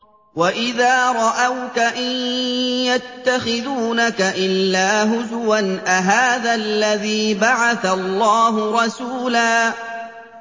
وَإِذَا رَأَوْكَ إِن يَتَّخِذُونَكَ إِلَّا هُزُوًا أَهَٰذَا الَّذِي بَعَثَ اللَّهُ رَسُولًا